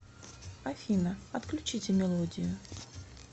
афина отключите мелодию